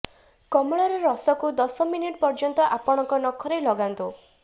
କମଳାର ରସକୁ ଦସ ମିନିଟ ପର୍ୟ୍ୟନ୍ତ ଆପଣଙ୍କ ନଖରେ ଲଗାନ୍ତୁ